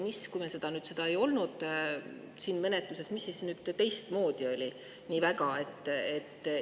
Mis siis nüüd, kui meil seda ei olnud siin menetluses, nii väga teistmoodi?